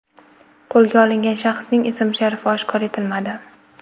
Qo‘lga olingan shaxsning ism-sharifi oshkor etilmadi.